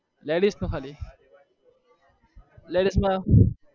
ladies નું ખાલી